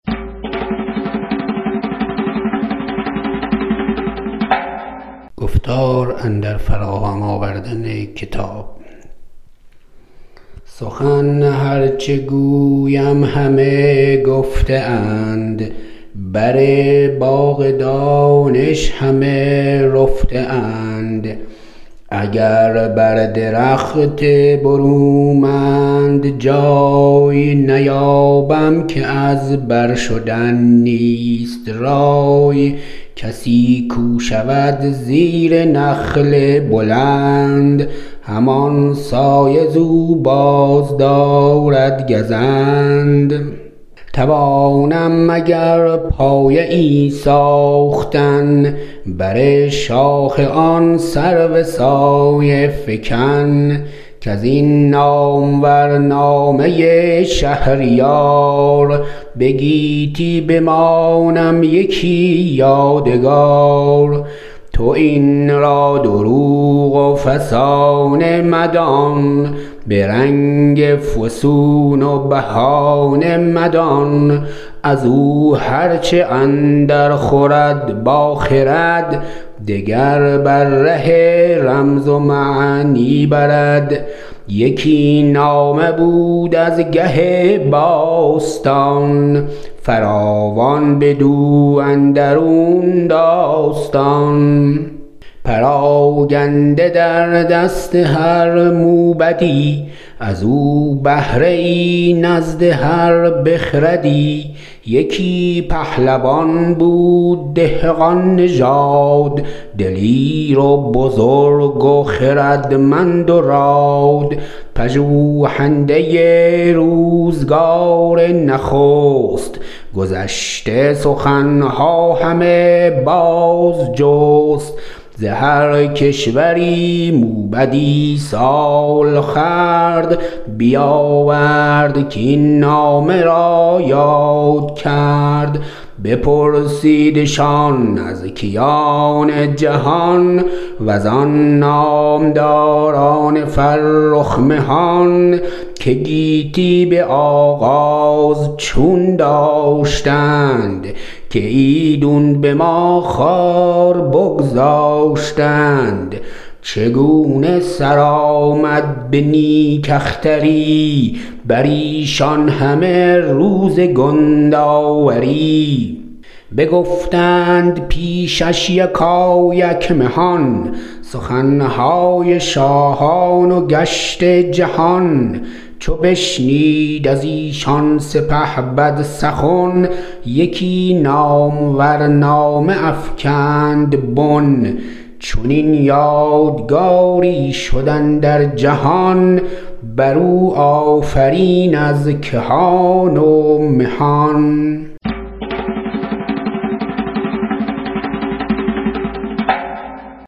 سخن هر چه گویم همه گفته اند بر باغ دانش همه رفته اند اگر بر درخت برومند جای نیابم که از بر شدن نیست رای کسی کو شود زیر نخل بلند همان سایه ز او بازدارد گزند توانم مگر پایه ای ساختن بر شاخ آن سرو سایه فکن کز این نامور نامه شهریار به گیتی بمانم یکی یادگار تو این را دروغ و فسانه مدان به رنگ فسون و بهانه مدان از او هر چه اندر خورد با خرد دگر بر ره رمز و معنی برد یکی نامه بود از گه باستان فراوان بدو اندرون داستان پراگنده در دست هر موبدی از او بهره ای نزد هر بخردی یکی پهلوان بود دهقان نژاد دلیر و بزرگ و خردمند و راد پژوهنده روزگار نخست گذشته سخن ها همه باز جست ز هر کشوری موبدی سال خورد بیاورد کاین نامه را یاد کرد بپرسیدشان از کیان جهان وزان نامداران فرخ مهان که گیتی به آغاز چون داشتند که ایدون به ما خوار بگذاشتند چگونه سر آمد به نیک اختری بر ایشان همه روز کندآوری بگفتند پیشش یکایک مهان سخن های شاهان و گشت جهان چو بشنید از ایشان سپهبد سخن یکی نامور نامه افکند بن چنین یادگاری شد اندر جهان بر او آفرین از کهان و مهان